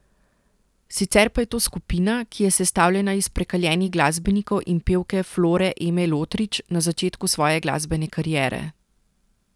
Sicer pa je to skupina, ki je sestavljena iz prekaljenih glasbenikov in pevke Flore Eme Lotrič na začetku svoje glasbene kariere.